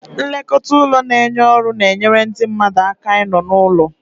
Nlekọta ụlọ na-enye ọrụ na-enyere ndị mmadụ aka ịnọ n'ụlọ.